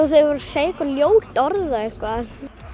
þeir voru að segja ljót orð og eitthvað